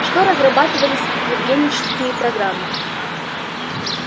что разрабатывались евгенические программы